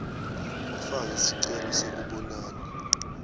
ufake sicelo sekubonana